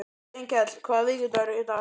Steinkell, hvaða vikudagur er í dag?